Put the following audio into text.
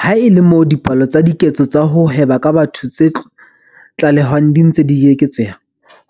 Ha e le moo dipalo tsa diketso tsa ho hweba ka batho tse tlalehwang di ntse di eketseha,